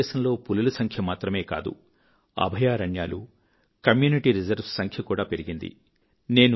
భారతదేశంలో పులుల సంఖ మాత్రమే కాదు అభయారణ్యాలు కమ్యూనిటీ రిజర్వ్ స్ సంఖ్య కూడా పెరిగింది